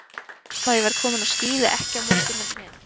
Ég er viss um að ég verð kominn á skíði ekki á morgun heldur hinn.